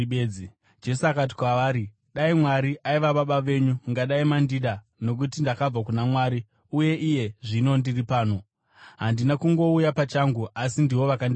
Jesu akati kwavari, “Dai Mwari aiva Baba venyu, mungadai maindida, nokuti ndakabva kuna Mwari uye iye zvino ndiri pano. Handina kungouya pachangu; asi ndivo vakandituma.